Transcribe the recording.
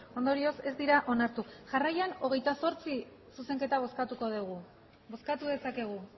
ondorioz ez dira onartu jarraian hogeita zortzi zuzenketa bozkatuko dugu bozkatu dezakegu